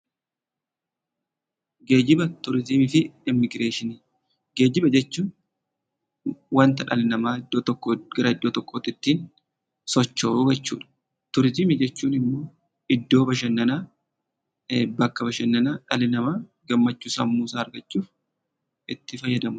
Geejjiba, turizimii fi immigireeshinii. Geejjiba jechuun wanta dhalli namaa bakka tokkoo bakka biratti sochoosuu jechuu dha. Turizimii jechuun immo iddoo bashannanaa dhalli namaa gammachuu sammuu isaa argachuuf itti fayyadamuu dha.